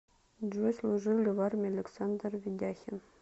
джой служил ли в армии александр ведяхин